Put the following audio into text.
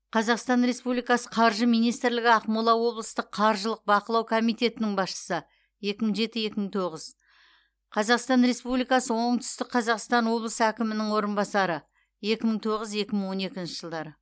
қазақстан республикасы қаржы министрлігі ақмола облыстық қаржылық бақылау комитетінің басшысы екі мың жеті екі мың тоғыз қазақстан республикасы оңтүстік қазақстан облысы әкімінің орынбасары екі мың тоғыз екі мың он екінші жылдары